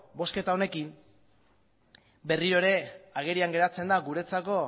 bozketa honekin berriro ere agerian geratzen da guretzako